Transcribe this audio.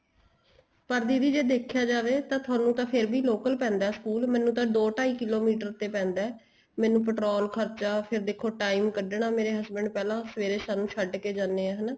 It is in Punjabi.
ਪਰ ਦੀਦੀ ਜ਼ੇ ਦੇਖਿਆ ਜਾਵੇ ਤਾਂ ਤੁਹਾਨੂੰ ਤਾਂ ਫ਼ੇਰ ਵੀ local ਪੈਂਦਾ school ਮੈਨੂੰ ਤਾਂ ਦੋ ਢਾਈ ਕਿਲੋਮੀਟਰ ਤੇ ਪੈਂਦਾ ਏ ਮੈਨੂੰ petrol ਖਰਚਾ ਫ਼ੇਰ ਦੇਖੋ time ਕੱਢਣਾ ਮੇਰੇ husband ਪਹਿਲਾਂ ਸਵੇਰੇ ਸਾਨੂੰ ਛੱਡ ਕੇ ਜਾਣੇ ਏ ਹਨਾ